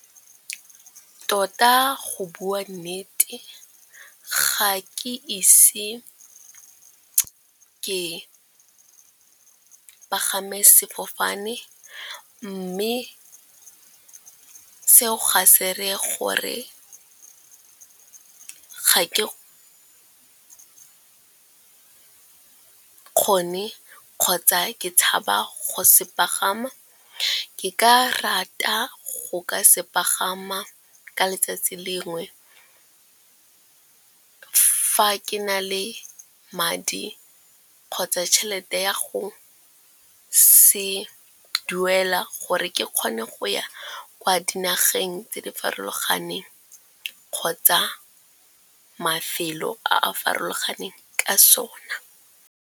Tota go bua nnete ga ke ise ke pagame sefofane, mme seo ga se reye gore ga ke kgone kgotsa ke tshaba go se pagama. Ke ka rata go ka se pagama ka letsatsi lengwe, fa ke na le madi kgotsa tšhelete ya go se duela, gore ke kgone go ya kwa dinageng tse di farologaneng kgotsa mafelo a a farologaneng ka sona.